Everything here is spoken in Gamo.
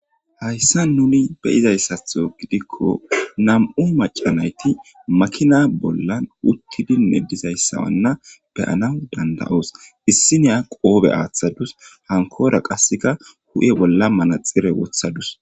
Hayssa nuni beyizayssatho gidikko nam'u macanayti makina bollan uttidinne dizayssawanna beyana danda'oos issiniya qoobe aaththadus hankora qasseka hu'e bolla manaxire wothadus.